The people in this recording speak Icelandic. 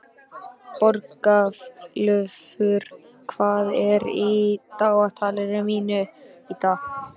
Borgúlfur, hvað er í dagatalinu mínu í dag?